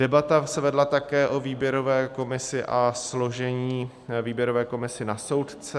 Debata se vedla také o výběrové komisi a složení výběrové komise na soudce.